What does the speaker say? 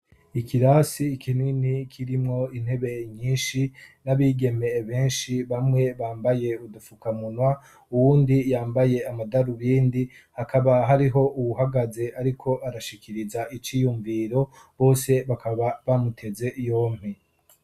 Ikirasi ikinini kirimwo intebe nyinshi n'abigemeye benshi bamwe bambaye udupfukamunwa uwundi yambaye amadaru bindi hakaba hariho uwuhagaze, ariko arashikiriza iciyumviro bose bakaba bamuteze iyompe.